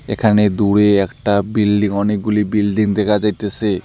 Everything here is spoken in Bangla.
এখানে দূরে একটা বিল্ডিং অনেকগুলি বিল্ডিং দেখা যাইতেসে।